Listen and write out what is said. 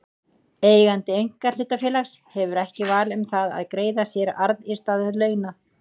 Eigandi einkahlutafélags hefur ekki val um það að greiða sér arð í stað launa.